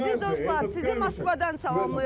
Əziz dostlar, sizi Moskvadan salamlayıram.